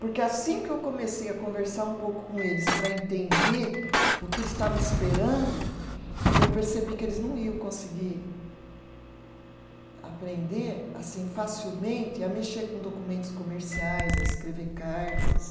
Porque assim que eu comecei a conversar um pouco com eles para entender o que eles estavam esperando, eu percebi que eles não iam conseguir aprender assim facilmente, a mexer com documentos comerciais, a escrever cartas.